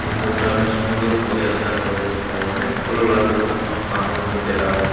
ভিতরটা অনেক সুন্দর হবে আশা করে তাই অনেক ভালো লাগলো। আমাকে আনন্দ পেলাম।